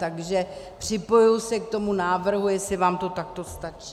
Takže připojuji se k tomu návrhu, jestli vám to takto stačí.